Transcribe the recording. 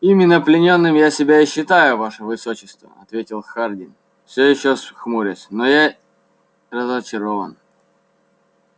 именно пленным я себя и считаю ваше высочество ответил хардин все ещё хмурясь но я разочарован